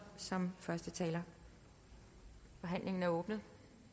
som første taler forhandlingen er åbnet